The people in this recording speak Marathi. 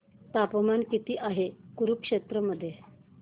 तापमान किती आहे कुरुक्षेत्र मध्ये